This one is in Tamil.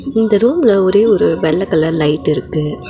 இந்த ரூம்ல ஒரே ஒரு வெள்ள கலர் லைட் இருக்கு.